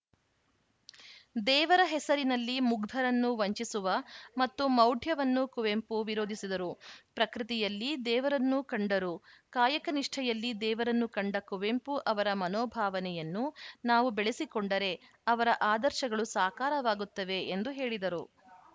ದೇವರ ಹೆಸರಿನಲ್ಲಿ ಮುಗ್ಧರನ್ನು ವಂಚಿಸುವ ಮತ್ತು ಮೌಢ್ಯವನ್ನು ಕುವೆಂಪು ವಿರೋಧಿಸಿದರು ಪ್ರಕೃತಿಯಲ್ಲಿ ದೇವರನ್ನು ಕಂಡರು ಕಾಯಕ ನಿಷ್ಠೆಯಲ್ಲಿ ದೇವರನ್ನು ಕಂಡ ಕುವೆಂಪು ಅವರ ಮನೋಭಾವನೆಯನ್ನು ನಾವು ಬೆಳೆಸಿಕೊಂಡರೆ ಅವರ ಆದರ್ಶಗಳು ಸಾಕಾರವಾಗುತ್ತವೆ ಎಂದು ಹೇಳಿದರು